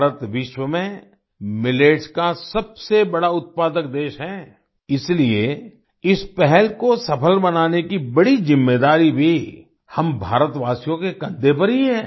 भारत विश्व में मिलेट्स का सबसे बड़ा उत्पादक देश है इसलिए इस पहल को सफ़ल बनाने की बड़ी ज़िम्मेदारी भी हम भारतवासियों के कंधे पर ही है